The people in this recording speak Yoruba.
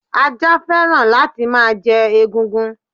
Ajá féràn la ti ma je egungun